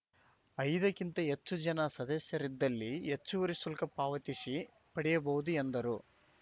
ಐದಕ್ಕಿಂತ ಹೆಚ್ಚು ಜನ ಸದಸ್ಯರಿದ್ದಲ್ಲಿ ಹೆಚ್ಚುವರಿ ಶುಲ್ಕ ಪಾವತಿಸಿ ಪಡೆಯಬಹುದು ಎಂದರು